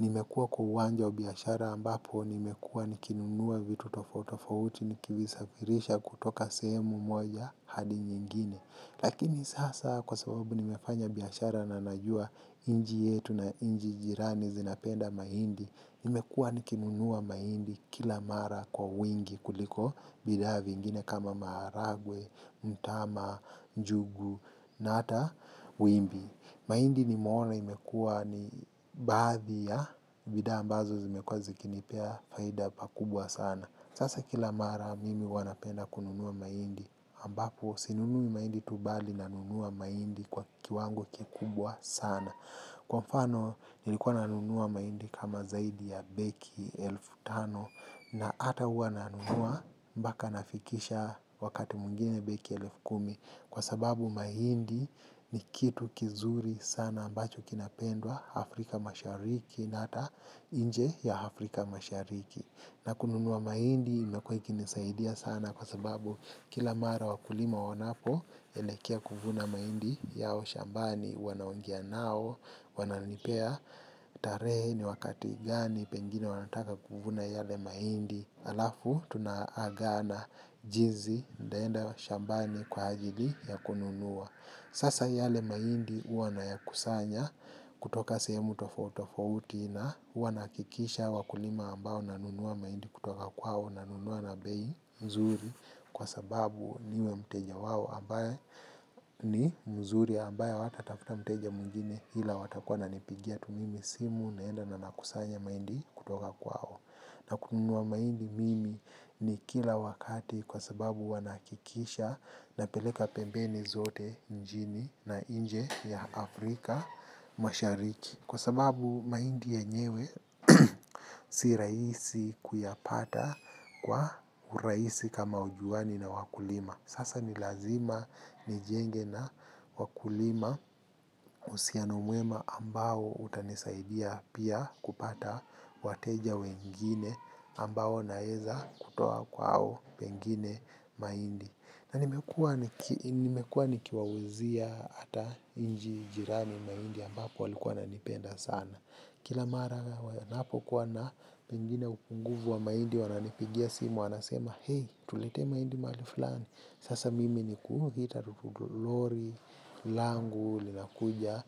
Nimekuwa kwa uwanja wa biashara ambapo, nimekuwa nikinunua vitu tofauti tofauti, nikivisafirisha kutoka sehemu moja hadi nyingine. Lakini sasa kwa sababu nimefanya biashara na najua nchi yetu na nchi jirani zinapenda mahindi. Nimekuwa nikinunua mahindi kila mara kwa wingi kuliko bidhaa vingine kama maharagwe, mtama, njugu na hata wimbi. Mahindi nimeona imekuwa ni baadhi ya bidhaa ambazo zimekuwa zikinipea faida pakubwa sana. Sasa kila mara mimi huwa napenda kununua mahindi ambapo sinunui mahindi tu bali nanunua mahindi kwa kiwango kikubwa sana. Kwa mfano nilikuwa nanunua mahindi kama zaidi ya begi elfu tano na hata huwa nanunua mpaka nafikisha wakati mwingine begi elfu kumi kwa sababu mahindi ni kitu kizuri sana ambacho kinapendwa Afrika mashariki na hata nje ya Afrika mashariki. Na kununua mahindi imekuwa ikinisaidia sana kwa sababu kila mara wakulima wanapoelekea kuvuna mahindi yao shambani wanaongea nao wananipea tarehe ni wakati gani pengine wanataka kuvuna yale mahindi halafu tunaagana jinsi nitaenda shambani kwa ajili ya kununua. Sasa yale mahindi huwa nayakusanya kutoka sehemu tofauti tofauti na huwa nahakikisha wakulima ambao nanunua mahindi kutoka kwao nanunua na bei nzuri kwa sababu niwe mteja wao ambaye ni mzuri ambaye hawatatafuta mteja mwingine ila watakuwa wananipigia tu mimi simu naenda na nakusanya mahindi kutoka kwao. Na kununua mahindi mimi ni kila wakati kwa sababu huwa nahakikisha napeleka pembeni zote nchini na nje ya Afrika mashariki. Kwa sababu mahindi yenyewe si rahisi kuyapata kwa urahisi kama hujuani na wakulima. Sasa ni lazima nijenge na wakulima uhusiano mwema ambao utanisaidia pia kupata wateja wengine ambao naeza kutoa kwao pengine mahindi. Na nimekuwa nikiwauzia hata nchi jirani mahindi ambapo walikuwa wananipenda sana. Kila mara ninapokuwa na pengine unguvu wa mahindi wananipigia simu wanasema, tuletee mahindi mahali fulani sasa mimi ni kuita lori, langu, linakuja,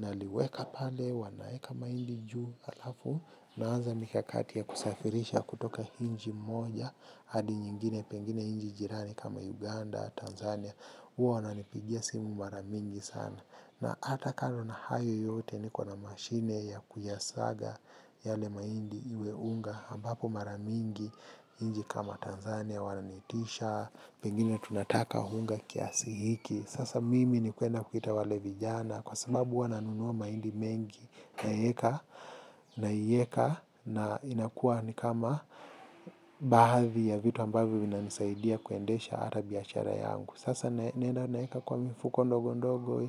naliweka pale, wanaekamahindi juu halafu, naanza mikakati ya kusafirisha kutoka nchi moja, hadi nyingine pengine nchi jirani kama Uganda, Tanzania, huwa wananipigia simu mara mingi sana. Na hata kando na hayo yote, niko na mashine ya kuyasaga yale mahindi iwe unga ambapo mara mingi nchi kama Tanzania wananiitisha pengine tunataka unga kiasi hiki sasa mimi ni kwenda kuita wale vijana kwa sababu huwa nanunua mahindi mengi naeka na inakuwa ni kama baadhi ya vitu ambavyo vinanisaidia kuendesha hata biashara yangu sasa naenda naeka kwa mifuko ndogo ndogo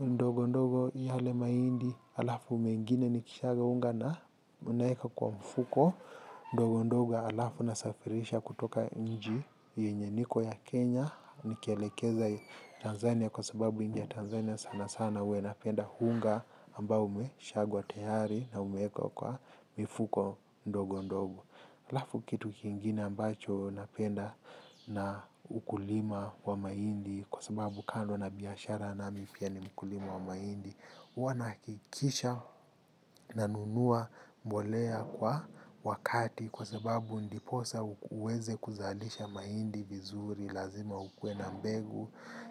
ndogo ndogo yale mahindi halafu mengine nikishaga unga na unaeka kwa mfuko ndogo ndogo halafu nasafirisha kutoka nchi yenye niko ya Kenya nikielekeza Tanzania kwa sababu nchi ya Tanzania sana sana huwa inapenda unga ambao umeshagwa tayari na umewekwa kwa mifuko ndogo ndogo halafu kitu kingine ambacho napenda na ukulima wa mahindi kwa sababu kando na biashara nami pia ni mkulima wa mahindi huwa nahakikisha nanunua mbolea kwa wakati kwa sababu ndiposa uweze kuzalisha mahindi vizuri lazima ukuwe na mbegu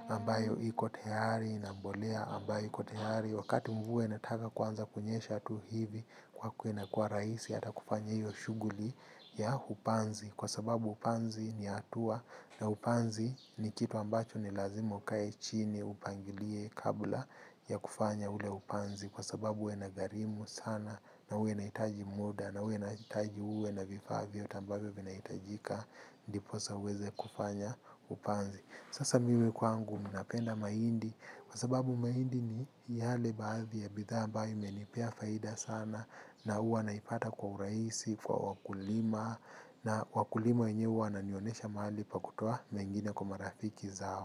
ambayo iko tayari na mbolea ambayo iko tayari wakati mvua inataka kuanza kunyesha tu hivi kwako inakuwa rahisi hata kufanya hiyo shughuli ya upanzi kwa sababu upanzi ni hatua na upanzi ni kitu ambacho ni lazima ukae chini upangilie kabla ya kufanya ule upanzi kwa sababu huwa inagharimu sana na huwa inahitaji muda na huwa inahitaji uwe na vifaa vyote ambavyo vinahitajika ndiposa uweze kufanya upanzi sasa mimi kwangu ninapenda mahindi kwa sababu mahindi ni yale baadhi ya bidhaa ambayo imenipea faida sana na huwa naipata kwa urahisi, kwa wakulima na wakulima wenyewe huwa wananionesha mahali pa kutoa mengine kwa marafiki zao.